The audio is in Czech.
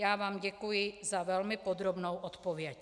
Já vám děkuji za velmi podrobnou odpověď.